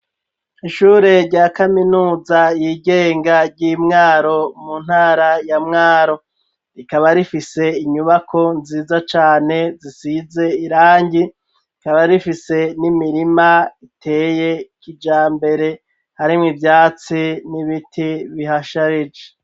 Ishure rya kaminuza yigenga ry'Imwaro, mu ntara ya Mwaro, rikaba rifise inyubako nziza cane zisize irangi, rikaba rifise n'imirima iteye kijambere, harimwo ivyatsi n'ibiti bihasharije.